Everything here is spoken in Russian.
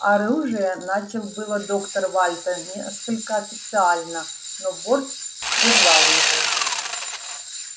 оружие начал было доктор вальто несколько официально но борт прервал его